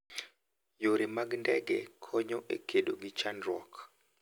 Yore mag ndege konyo e kedo gi chandruok.